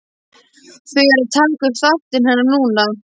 Þau eru að taka upp þáttinn hennar núna.